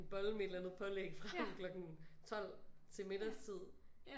Bolle med et eller andet pålæg frem klokken 12 til middagstid